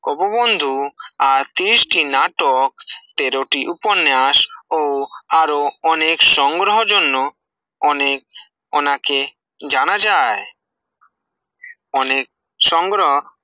অববন্ধু আর তিরিশ টি নাটক, তেরোটি উপন্যাস ও আরো অনেক সংগ্রহের জন্য অনেক অনাকে জানা যায় অনেক সংগ্রহ